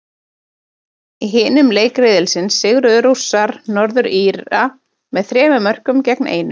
Í hinum leik riðilsins sigruðu Rússar, Norður Íra, með þremur mörkum gegn einu.